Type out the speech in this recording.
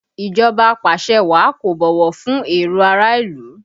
Ìjọba apàṣẹwàá kò bọ̀wọ̀ fún èrò ará ìlú